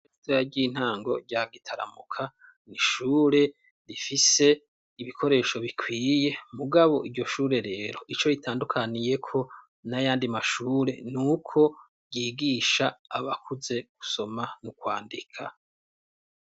Iira ry'intango rya gitaramuka ni ishure rifise ibikoresho bikwiye mugabo iryo shure rero ico ritandukaniyeko n'ayandi mashure ni uko ryigisha abakuze gusoma mu kwandika.